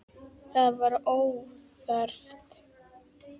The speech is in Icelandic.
Það var óþarft.